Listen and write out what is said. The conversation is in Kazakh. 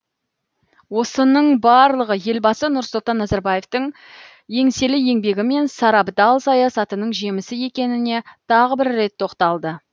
осының барлығы елбасы нұрсұлтан назарбаевтың еңселі еңбегі мен сарабдал саясатының жемісі екеніне тағы бір рет тоқталды